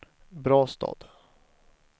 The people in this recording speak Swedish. Brastad